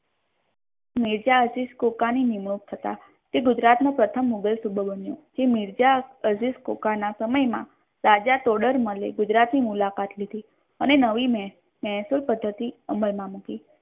મિર્ઝા અઝીઝ કોકાની નિયુક્ત હતા તે ગુજરાત નો પ્રથમ મુઘલ સૂબો બન્યો જે મિર્ઝા અઝીઝ કોકના સમય મા રાજા કોડર મલ એ ગુજરાત ની મુલાકાત લીધી અને નવી મેહફીલ પધ્દતિ અમલ મા મૂકી